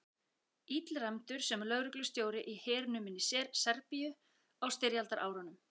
Illræmdur sem lögreglustjóri í hernuminni Serbíu á styrjaldarárunum.